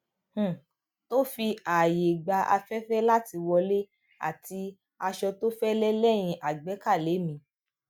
um tó fi ààyè gba afẹfẹ láti wọlé àti aṣọ tó fẹlẹ lẹyìn agbékalẹ mi